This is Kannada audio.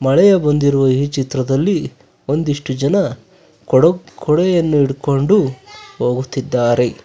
ಮಳೆಯ ಬಂದಿರುವ ಈ ಚಿತ್ರದಲ್ಲಿ ಒಂದಿಷ್ಟು ಜನ ಕೊಡಕ್ ಕೊಡೆಯನ್ನು ಹಿಡ್ಕೊಂಡು ಹೋಗುತ್ತಿದ್ದಾರೆ.